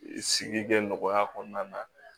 Sigi gɛn nɔgɔya kɔnɔna na